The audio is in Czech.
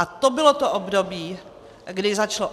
A to bylo to období, kdy začalo.